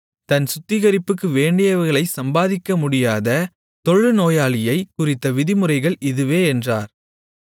தன் சுத்திகரிப்புக்கு வேண்டியவைகளைச் சம்பாதிக்கமுடியாத தொழுநோயாளியைக் குறித்த விதிமுறைகள் இதுவே என்றார்